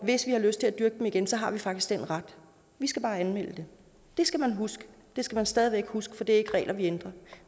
hvis vi har lyst til at dyrke dem igen så har vi faktisk den ret vi skal bare anmelde det det skal man huske det skal man stadig væk huske for det er ikke de regler vi ændrer